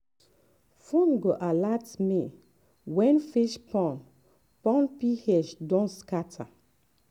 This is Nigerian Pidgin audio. phone go alert me when fish pond pond ph don scatter.